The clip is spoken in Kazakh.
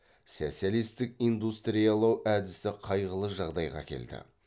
социалистік индустриялау әдісі қайғылы жағдайға әкелді